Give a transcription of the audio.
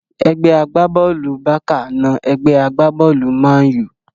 Ẹgbẹ́ agbá-bọ́ọ̀lù Bákà na ẹgbẹ́ agbá-bọ́ọ̀lù mánù